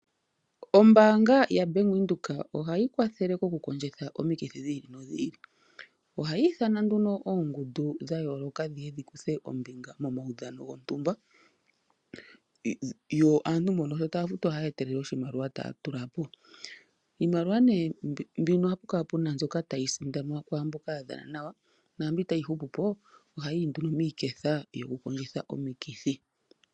Oombanga yaVenduka(Bank Windhoek)ohayi kwathele oku kondjitha omiikithi dhili nodhili .Ohayi ithana nduno oongundu dhayoloka dhikuthe ombinga momawudhano gotumba .Aantu mboka tafutwa ohaya etelele oshimaliwa taa tula po. Iimaliwa nee mbono ohapu kala mbyoka tayi sindanwa kwamboka yadhana nawa na mbyoka tayi hupupo ohayi yi nee nduno miiketha yoku kondjitha omiikithi.